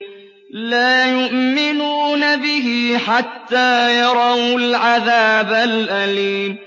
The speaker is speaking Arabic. لَا يُؤْمِنُونَ بِهِ حَتَّىٰ يَرَوُا الْعَذَابَ الْأَلِيمَ